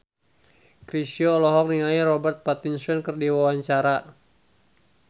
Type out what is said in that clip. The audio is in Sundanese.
Chrisye olohok ningali Robert Pattinson keur diwawancara